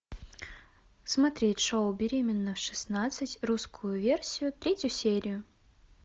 смотреть шоу беременна в шестнадцать русскую версию третью серию